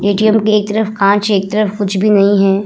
ATM. के एक तरफ कांच है एक तरफ कुछ भी नहीं है।